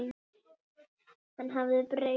Hann hafði breyst.